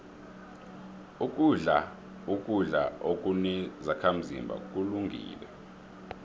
ukudla ukudla okunezakhazimba kulungile